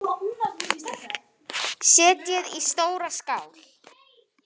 Setjið í stóra skál.